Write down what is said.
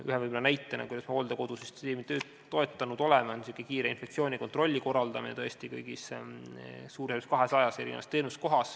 Üks näide sellest, kuidas me oleme hooldekodusüsteemi toetanud, on kiire inspektsiooni kontrolli korraldamine kõigis 200-s suuremas teenuskohas.